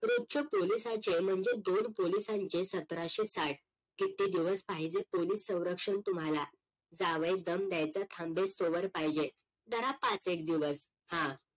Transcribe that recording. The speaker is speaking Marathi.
रोजचे पोलिसांचे म्हणजे दोन पोलिसांचे सतराशे साठ किती दिवस पाहिजे पोलीस सवरक्षण तुम्हाला? जावई दम द्यायचा थांबेस तेव्हर पाहिजे धरा पाच एक दिवस हा